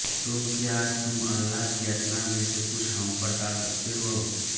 तो क्या तुम अल्लाह की यातना में से कुछ हमपर टाल सकते हो